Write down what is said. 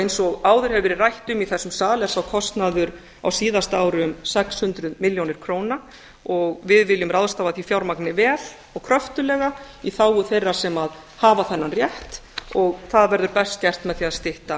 eins og áður hefur verið rætt um í þessum sal er sá kostnaður á síðasta ári um sex hundruð milljónir króna og við viljum ráðstafa því fjármagni vel og kröftuglega í þágu þeirra sem hafa þennan rétt og það verður best gert með því að stytta